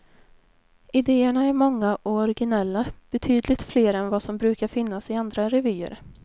Idéerna är många och originella, betydligt fler än vad som brukar finnas i andra revyer.